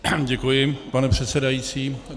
Děkuji, pane předsedající.